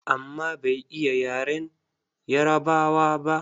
Amma bai iya yaren Yarabawa ba.